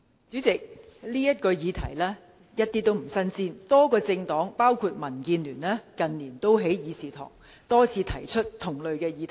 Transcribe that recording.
主席，這個議題一點也不新鮮，多個政黨近年也在議事堂多次提出同類議題。